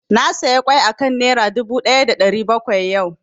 Na saya ƙwai a kan Naira dubu ɗaya da ɗari bakwai yau